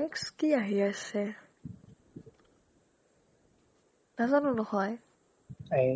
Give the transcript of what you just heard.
next কি আহি আছে? নজানো নহয় এই